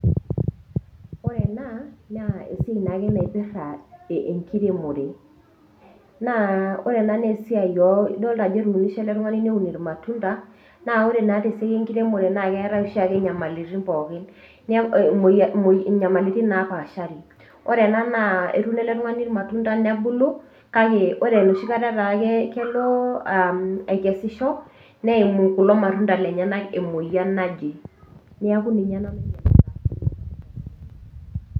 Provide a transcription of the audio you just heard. Ore ena naa esiai naake naipirita enkiremore, naa ore ena naa esiai idol ajo etuinishe ele tung'ani neun ilmatunda. Naa ore naake te esiai enkiremore naa keatai oshiake inyamaliritin pookin, inyamaliritin napaashari. Ore ena naa etuuno ele tung'ani ilmatunda nebulu, kale ore enooshi kata naake nalo akesisho, neimu kulo matunda lenyenak emoyian naje, neaku ninye ena.